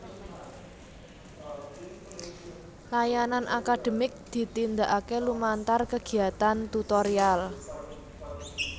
Layanan akademik ditindakake lumantar kegiatan tutorial